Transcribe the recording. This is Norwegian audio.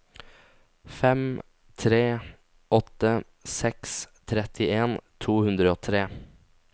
fem tre åtte seks trettien to hundre og tre